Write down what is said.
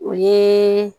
O ye